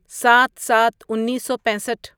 سات سات انیسو پیسٹھ